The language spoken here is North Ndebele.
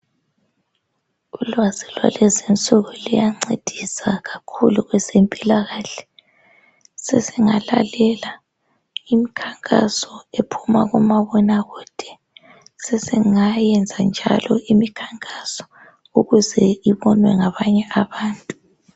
Ulwazi lwalezi insuku luyancedisa kakhulu kwezempilakahle. Sesingalalela imkhankaso ephuma kumabona kude. Singayenza njalo imikhankaso ukuze engabonwa ngabanye abantu.